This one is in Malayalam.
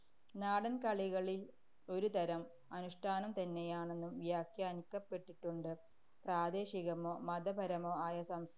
നാടന്‍കളികളില്‍ ഒരുതരം അനുഷ്ഠാനം തന്നെയാണെന്നും വ്യാഖ്യാനിക്കപ്പെട്ടിട്ടുണ്ട്. പ്രാദേശികമോ മതപരമോ ആയ സം~